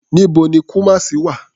Níbo ni Kumasi wà?